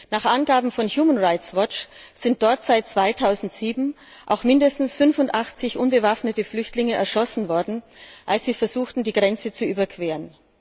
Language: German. Nach Angaben von Human Rights Watch sind dort seit 2007 auch mindestens 85 unbewaffnete Flüchtlinge erschossen worden, als sie versuchten, die Grenze zu überqueren.